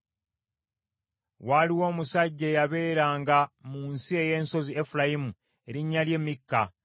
Waaliwo omusajja eyabeeranga mu nsi ey’ensozi Efulayimu, erinnya lye Mikka.